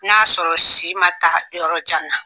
N y'a sɔrɔ si man taa yɔrɔ jan na.